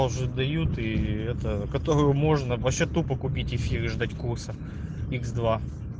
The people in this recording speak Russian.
уже дают ии это которую можно ваще тупо купить эфир и ждать курса икс два